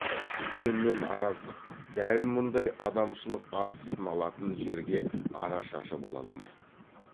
үлкенмен араздық дәл мұндай адамшылық ар сыналатын жерге арашашы бола алмайды